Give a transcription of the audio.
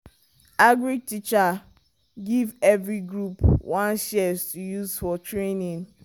agric teacher give every group one shears to use for training.